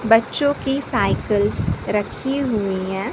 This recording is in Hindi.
बच्चों की साइकल्स रखी हुई है।